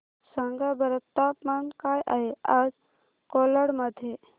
सांगा बरं तापमान काय आहे आज कोलाड मध्ये